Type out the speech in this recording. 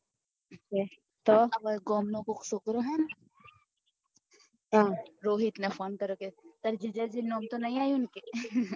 તો અપડા ગામ નો કોક છોકરો હે ને રોહિત ને phone કર્યો કે તાર જીજાજી નું નામ તો નહિ આવું ને